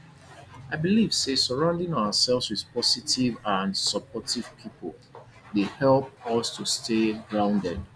i dey believe say surrounding ourselves with positive and supportive people dey help us to stay grounded